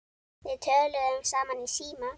Við töluðum saman í síma.